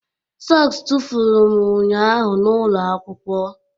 sọks tụfuru m ụnyaahụ n'ụlọ akwụkwọ